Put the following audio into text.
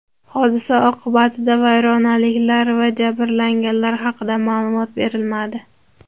Hodisa oqibatida vayronaliklar va jabrlanganlar haqida ma’lumot berilmadi.